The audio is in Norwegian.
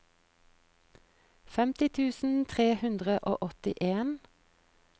femti tusen tre hundre og åttien